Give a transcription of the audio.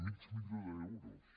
mig milió d’euros